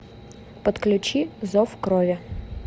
подключи зов крови